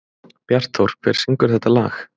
Bjartþór, hver syngur þetta lag?